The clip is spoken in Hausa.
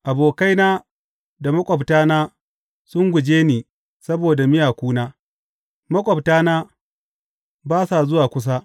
Abokaina da maƙwabtana sun guje ni saboda miyakuna; maƙwabtana ba sa zuwa kusa.